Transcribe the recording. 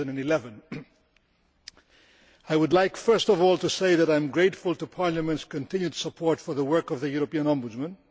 2011. I would like first of all to say that I am grateful to Parliament's continued support for the work of the European Ombudsman.